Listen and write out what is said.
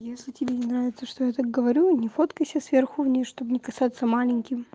если тебе не нравится что я так говорю не фоткайся сверху вниз чтобы не казаться маленьким